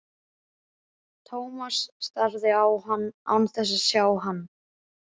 Thomas starði á hann án þess að sjá hann.